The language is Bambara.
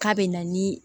K'a bɛ na ni